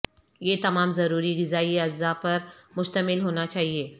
یہ تمام ضروری غذائی اجزاء پر مشتمل ہونا چاہیے